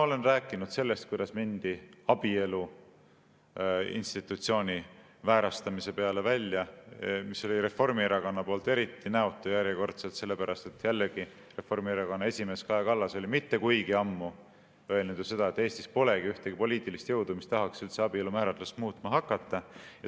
Olen rääkinud sellest, kuidas mindi abielu institutsiooni väärastamise peale välja, mis oli Reformierakonna poolt eriti näotu järjekordselt sellepärast, et Reformierakonna esimees Kaja Kallas oli mitte kuigi ammu öelnud, et Eestis polegi ühtegi poliitilist jõudu, kes tahaks abielu määratlust muutma hakata.